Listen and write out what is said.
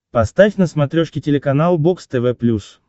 поставь на смотрешке телеканал бокс тв плюс